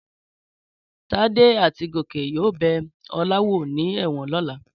Tádé àti Gòkè yóò bẹ Ọlá wò ní ẹ̀wọ̀n lọ́la.